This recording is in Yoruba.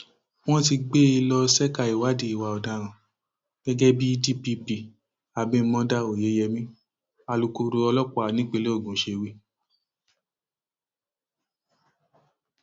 wọn ti gbé e lọ ṣẹka ìwádìí ìwà ọdaràn gẹgẹ bí dpp abimodá oyeyèmí alūkkoro ọlọpàá nípínlẹ ogun ṣe wí